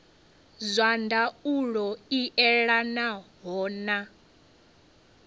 zwa ndaulo i elanaho na